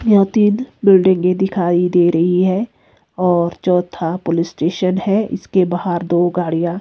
यह तीन बिल्डिंगे दिखाई दे रही है और चौथा पुलिस स्टेशन है इसके बाहर दो गाड़ियां--